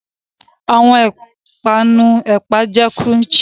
Awọn ipanu ẹpa jẹ crunchy